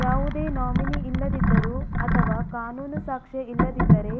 ಯಾವುದೇ ನಾಮಿನಿ ಇಲ್ಲದಿದ್ದರೂ ಅಥವಾ ಕಾನೂನು ಸಾಕ್ಷ್ಯ ಇಲ್ಲದಿದ್ದರೆ